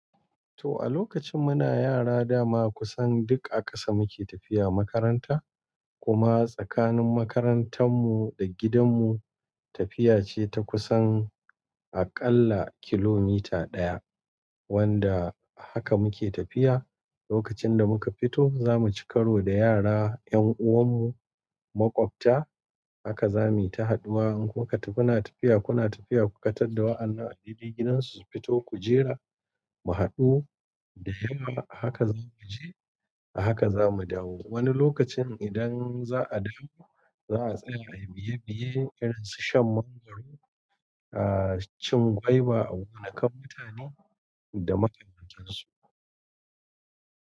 To a lokacin muna yara dama kusan duk a ƙasa muke tafiya makaranta kuma tsakanin makarantar mu da gidan mu tafiya ce ta kusan aƙalla kilomita ɗaya wanda haka muke tafiya. Lokacin da muka fito zamu ci karo da yara yan uwan mu maƙwabta haka zamu yi ta haduwa. In kuma tafi kuna tafiya kuna tafiya kuka tar da wa'annan a dede gidansu su fito ku jira mu haɗu da yawa. A haka zamu je a haka zamu dawo. Wani lokacin idan za'a dawo za'a tsaya ai biye-biye irin su shan mangwaro, ah cin gwaiba a wani kamfani da makarantar su.